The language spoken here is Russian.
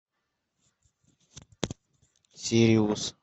сириус